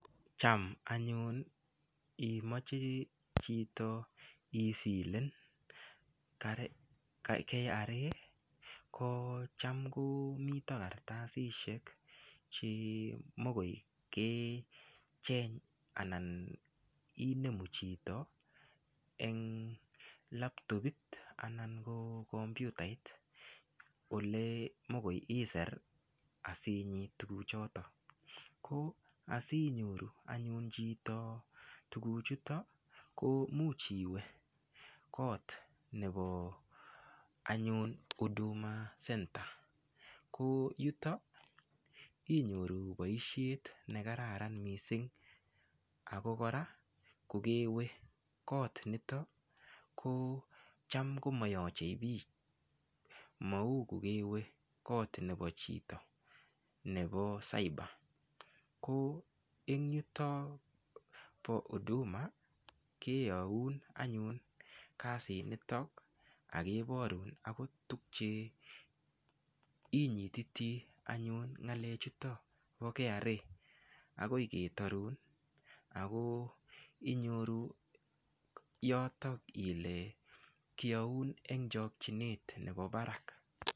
Cham anyun imoche chito ifilen KRA ko cham komito karatasishek chemokoi kecheny anan inemu chito eng laptopit anan ko kompyutait olemokoi iser asinyit tukuchoton ko asinyoru anyun chito tukuchuto ko muuch iwe koot nebo anyun huduma center ko yuto inyoru boishet negararan mising ako kora kokewe koot nito ko cham komayochei biik mau ku kewe koot nebo chito nebo cyber ko eng yuto po huduma keyoun anyun kasit nitok akeborun akot tukche inyititi anyun ng'alek chuto po KRA akoi ketorun ako inyoru yotok ile kioun eng chokchinet nebo barak.